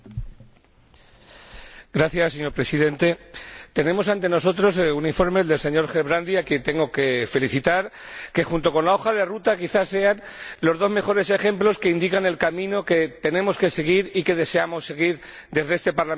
Señor Presidente, tenemos ante nosotros un informe del señor Gerbrandy a quien tengo que felicitar que, junto con la hoja de ruta, quizás sean los dos mejores ejemplos que indican el camino que tenemos que seguir y que deseamos seguir desde este Parlamento y también, al parecer, desde la Comisión.